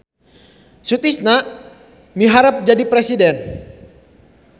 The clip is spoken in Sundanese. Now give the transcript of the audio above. Sutisna miharep jadi presiden